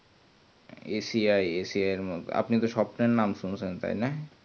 আসিয়া আসিয়া এর আপনি তো সবটাই নাম শুনেছেন তাইনা